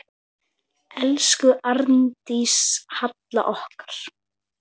Elsku Arndís Halla okkar.